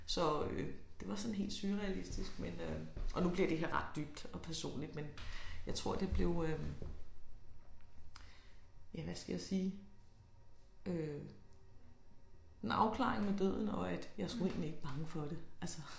Så øh det var sådan helt surrealistisk men øh og nu bliver det ret dybt og personligt men jeg tror det blev øh ja hvad skal jeg sige øh en afklaring med døden og at jeg er sgu egentlig ikke bange for det altså